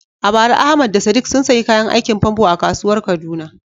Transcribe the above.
A bara Ahmad da Sadiq sun sayi kayan aikin famfo a kasuwar Kaduna.